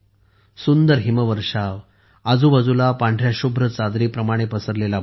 सुंदर हिमवर्षाव आजूबाजूला पांढऱ्या शुभ्र चादरीप्रमाणे पसरलेला बर्फ